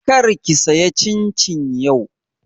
Kar ki saya cincin yau!